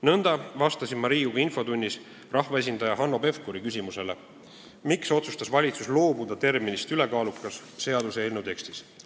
Nõnda vastasin ma ka Riigikogu infotunnis rahvaesindaja Hanno Pevkuri küsimusele, miks otsustas valitsus loobuda terminist "ülekaalukas" seaduseelnõu tekstis.